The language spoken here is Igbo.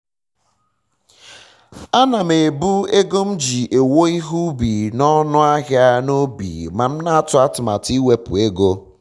ana m ebu ego m ji ewo ihe ubi na ọnụ ahịa na obi ma m na atụ atụmatụ iwepu ego